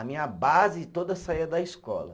A minha base toda saía da escola.